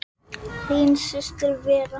Er þetta hin síðari